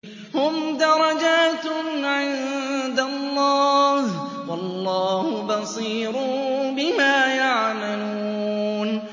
هُمْ دَرَجَاتٌ عِندَ اللَّهِ ۗ وَاللَّهُ بَصِيرٌ بِمَا يَعْمَلُونَ